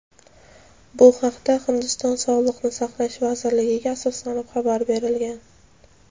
Bu haqda Hindiston Sog‘liqni saqlash vazirligiga asoslanib xabar berilgan.